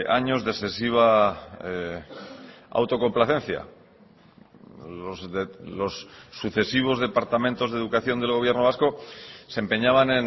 años de excesiva autocomplacencia los sucesivos departamentos de educación del gobierno vasco se empeñaban